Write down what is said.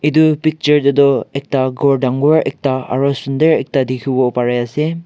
etu picture teh tu ekta ghor dangor ekta aru sundar ekta dikhibo pare ase.